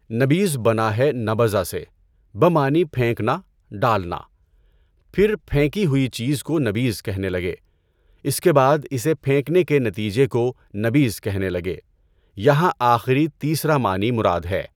نبیذ بنا ہے "نَبَذَ" سے بمعنی پھینکنا، ڈالنا۔ پھر پھینکی ہوئی چیز کو نبیذ کہنے لگے۔ اس کے بعد اس پھینکنے کے نتیجہ کو نبیذ کہنے لگے۔ یہاں آخری تیسرا معنی مراد ہے۔